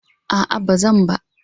A'a ba zan ba.